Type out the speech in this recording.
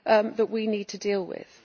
that we need to deal with.